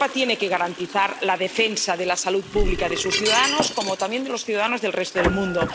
Europa tiene que garantizar la defensa de la salud pública de sus ciudadanos, como también de los ciudadanos del resto del mundo.